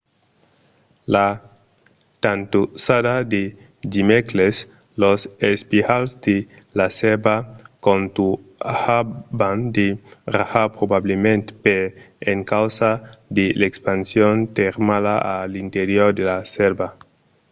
la tantossada de dimècres los espiralhs de la sèrva contunhavan de rajar probablament per encausa de l’expansion termala a l’interior de la sèrva